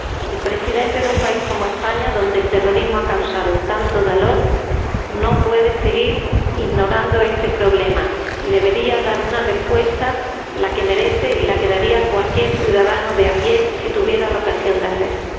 El presidente de un país como España, donde el terrorismo ha causado tanto dolor, no puede seguir ignorando este problema y debería dar una respuesta, la que merece y la que daría cualquier ciudadanos de a pie si tuviera la ocasión de hacerlo.